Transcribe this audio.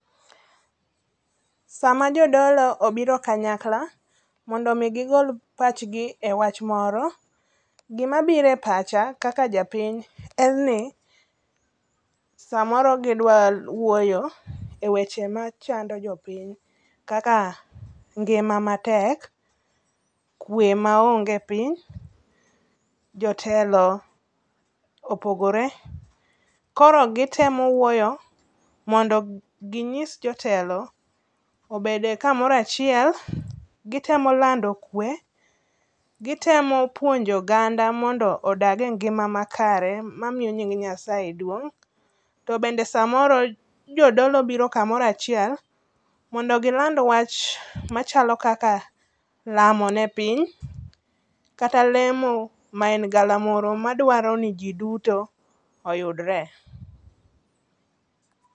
Sama jodolo obiro kanyakla mondo omi gigol pachgi e wach moro. Gima biro e pacha kaka japiny, en ni, samoro giwa wuoyo e weche machando jopiny. Kaka ngima matek, kwe maonge e piny, jotelo opogore. Koro gitemo wuoyo mondo ginyis jotelo obed kamoro achiel. Gitemo lando kwe, gitemo puonjo oganda mondo odage ngima makare mamiyo nying Nyasaye duong'. To bende samoro jodolo biro kamoro achiel mondo giland wach machalo kaka lamo ne piny, kata lemo maen galamoro madwaro ni ji duto oyudre.